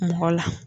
Mɔgɔ la